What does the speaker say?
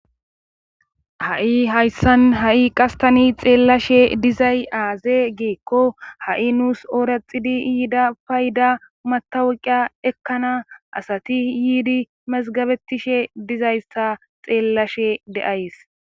Ha'i hayssan ha'i qastani xeellashe dizay aaze geekko ha'i nuus ooraxidi yiida payda matawuqiya ekkana asati yiidi mazgabettishe dizayssa xeellashe de'ays.